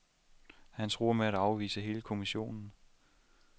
Han truer med at afvise hele kommissionen.